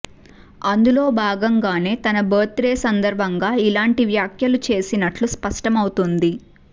అందులో భాగంగానే తన బర్త్ డే సందర్బంగా ఇలాంటి వ్యాఖ్యలు చేసినట్లు స్పష్టమవుతోంది